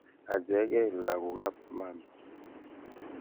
Ache kei lagokab mama.